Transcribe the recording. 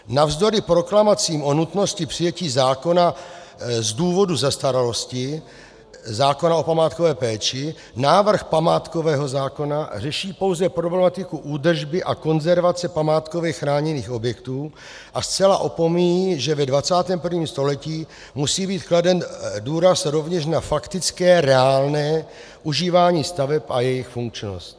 Navzdory proklamacím o nutnosti přijetí zákona z důvodu zastaralosti, zákona o památkové péči, návrh památkového zákona řeší pouze problematiku údržby a konzervace památkově chráněných objektů a zcela opomíjí, že ve 21. století musí být kladen důraz rovněž na faktické reálné užívání staveb a jejich funkčnost.